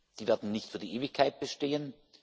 Die werden nicht für die Ewigkeit bestehen.